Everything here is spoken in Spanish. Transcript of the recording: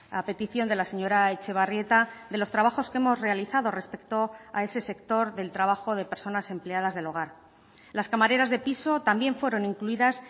a petición de la señora etxebarrieta de los trabajos que hemos realizado respecto a ese sector del trabajo de personas empleadas del hogar las camareras de piso también fueron incluidas